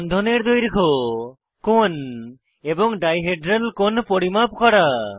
বন্ধনের দৈর্ঘ্য কোণ এবং ডাই হেড্রাল কোণ পরিমাপ করা